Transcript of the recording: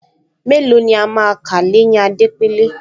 Mélòó ni a máa kà l’éyín Adépèlé